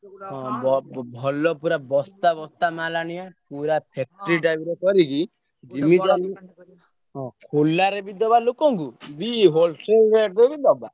ହଁ ବ ଭଲ ପୁରା ବସ୍ତା ମାଲ ଆଣିବା ପୁରା factory type ର କରିକି ହଁ ଖୋଲାରେ ବି ଦେବା ଲୋକଙ୍କୁ ବି wholesale rate ରେ ବି ଦବା।